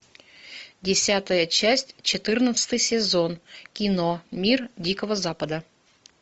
десятая часть четырнадцатый сезон кино мир дикого запада